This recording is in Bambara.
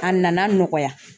A nana nɔgɔya